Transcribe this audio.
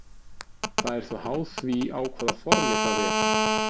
Það er þó háð því á hvaða formi það er.